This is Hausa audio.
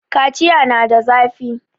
kaciya na da zafi